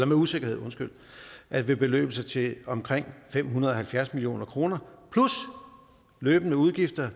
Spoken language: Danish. med usikkerhed at ville beløbe sig til omkring fem hundrede og halvfjerds million kroner plus løbende udgifter